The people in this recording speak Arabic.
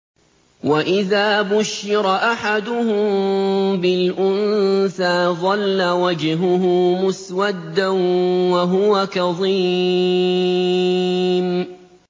وَإِذَا بُشِّرَ أَحَدُهُم بِالْأُنثَىٰ ظَلَّ وَجْهُهُ مُسْوَدًّا وَهُوَ كَظِيمٌ